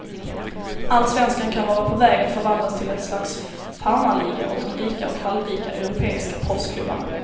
Allsvenskan kan vara på väg att förvandlas till ett slags farmarliga åt de rika och halvrika europeiska proffsklubbarna.